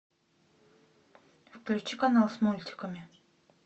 включи канал с мультиками